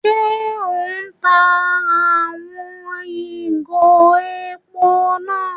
Ṣe o n tá àwon ìgò èpò náà?